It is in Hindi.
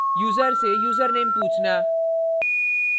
* यूज़र से username पूछना